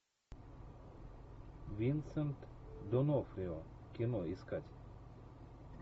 винсент д онофрио кино искать